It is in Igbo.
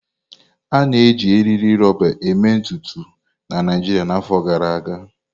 A na-eji eriri rọba eme ntutu na Naijiria na afọ ndi gara aga.